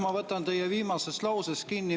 Ma võtan teie viimasest lausest kinni.